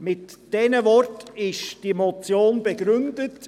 Mit diesen Worten wird diese Motion begründet.